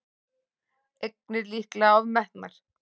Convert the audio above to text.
Eignir líklega ofmetnar